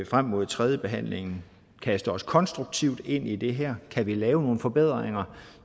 frem mod tredjebehandlingen kaste os konstruktivt ind i det her kan vi lave nogle forbedringer